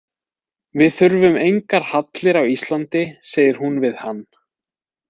Við þurfum engar hallir á Íslandi, segir hún við hann.